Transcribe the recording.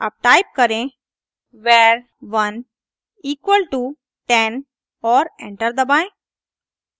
अब टाइप करें var1 equal to 10 और एंटर दबाएं